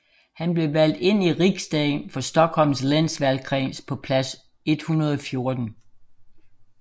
Han blev valgt ind i riksdagen for Stockholms läns valgkreds på plads 114